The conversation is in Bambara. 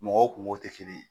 Mɔgɔw kungow te kelen ye